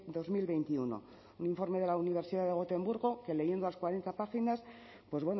dos mil veintiuno un informe de la universidad de gotemburgo que leyendo las cuarenta páginas pues